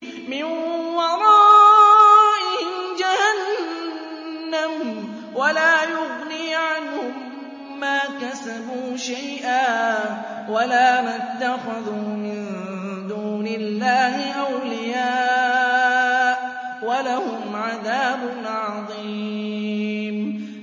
مِّن وَرَائِهِمْ جَهَنَّمُ ۖ وَلَا يُغْنِي عَنْهُم مَّا كَسَبُوا شَيْئًا وَلَا مَا اتَّخَذُوا مِن دُونِ اللَّهِ أَوْلِيَاءَ ۖ وَلَهُمْ عَذَابٌ عَظِيمٌ